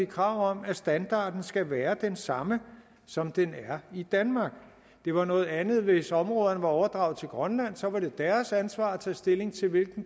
krav om at standarden skal være den samme som den er i danmark det var noget andet hvis områderne var overdraget til grønland så var det deres ansvar at tage stilling til